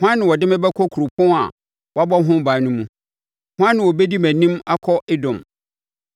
Hwan na ɔde me bɛkɔ kuropɔn a wɔabɔ ho ban no mu? Hwan na ɔbɛdi mʼanim akɔ Edom?